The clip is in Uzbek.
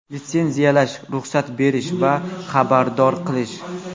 Litsenziyalash, ruxsat berish va xabardor qilish.